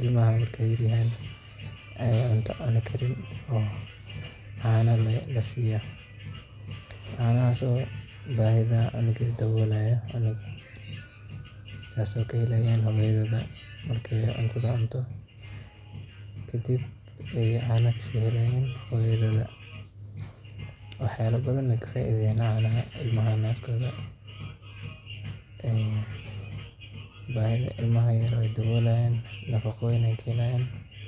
ilmaha markaay yar yahaan cunto cuni karin cana lee lasiiya kuwaas oo bahida cunuga daboolaya taas oo aay kahelayaan hoyadooda markaay cunto cunto, wax yaaba badan ayeey ka faidayaan, bahida ilmaha ayeey daboolayan.